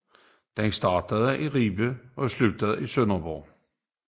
Den starter i Ribe og slutter i Sønderborg